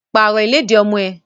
Pàrọ̀ ìlẹ́dì ọmọ ẹ!